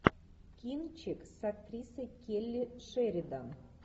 кинчик с актрисой келли шеридан